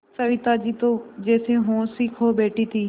सविता जी तो जैसे होश ही खो बैठी थीं